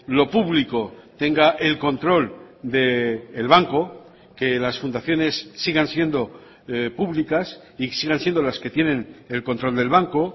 lo público tenga el control del banco que las fundaciones sigan siendo públicas y sigan siendo las que tienen el control del banco